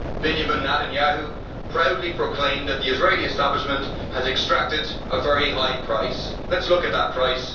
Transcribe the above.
Benjamin Netanyahu proudly proclaimed that the Israeli establishment has exacted a very high price. Let us look at that price.